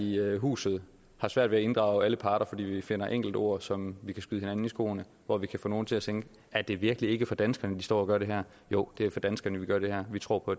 i huset svært ved at inddrage alle parter fordi vi finder enkelte ord som vi kan skyde hinanden i skoene hvor vi kan få nogle til at tænke er det virkelig ikke for danskerne de står og gør det her jo det er for danskerne vi gør det her vi tror på